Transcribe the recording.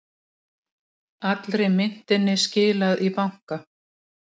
Allri myntinni skilað í banka